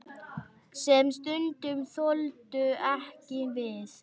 Sem stundum þoldu ekki við.